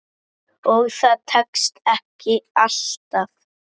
Og það tekst ekki alltaf.